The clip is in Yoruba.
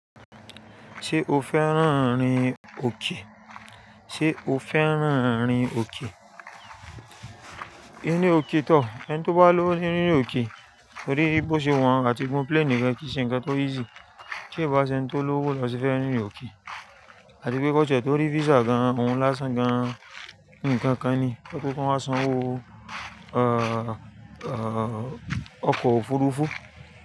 Ṣé o fẹ́ràn rìn òkè? Ṣé o fẹ́ràn rìn òkè? Írin òkè tọ́, ẹni tó bá lowo ni rírìn òkè, torí bí ó ṣe wọ́n àti gun plani gan kí n ṣẹ̀ ǹko tó easy. Ti o bá ṣe ẹni tó lówó lọ ṣe fẹ́ rìnrin òkè àti pé kọ ti e to rí visa gan-an, ohun lásán gan-an, nkan kan ni, ẹ kú kán wáa sanwó, ẹ́ẹ̀, ọkọ̀ òfurufú.